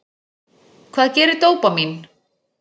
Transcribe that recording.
Hvað gerir dópamín?